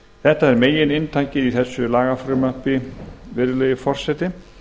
þetta er megininntakið í lagafrumvarpinu virðulegi forseti